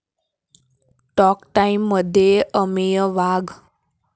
talk टाईम'मध्ये अमेय वाघ